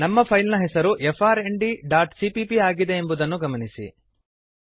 ನಮ್ಮ ಫೈಲ್ ನ ಹೆಸರು frndಸಿಪಿಪಿ ಆಗಿದೆ ಎಂಬುದನ್ನು ಗಮನಿಸಿರಿ